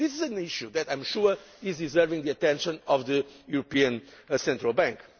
This is an issue which I am sure deserves the attention of the European Central Bank.